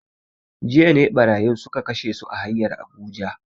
Jiya ne barayin suka kashe su a hanyar Abuja